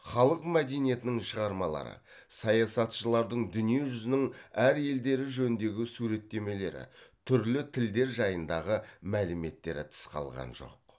халық мәдениетінің шығармалары саясатшылардың дүние жүзінің әр елдері жөніндегі суреттемелері түрлі тілдер жайындағы мәліметтері тыс қалған жоқ